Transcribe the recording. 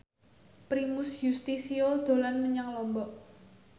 Primus Yustisio dolan menyang Lombok